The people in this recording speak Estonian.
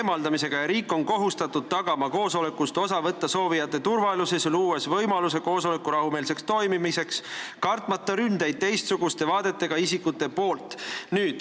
Riik on kohustatud tagama koosolekust osa võtta soovijate turvalisuse, luues võimaluse koosoleku rahumeelseks toimumiseks, kartmata ründeid teistsuguste vaadetega isikute poolt.